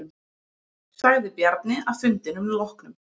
Sagði Bjarni að fundinum loknum.